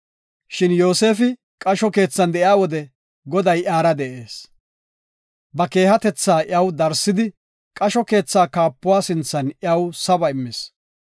Shin Yoosefi qasho keethan de7iya wode, Goday iyara de7ees. Ba keehatetha iyaw darsidi, qasho keetha kaapuwa sinthan iyaw saba immis.